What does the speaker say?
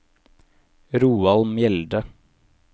Roald Mjelde